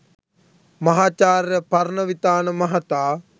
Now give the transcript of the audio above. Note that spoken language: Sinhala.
මහාචාර්ය පරණවිතාන මහතා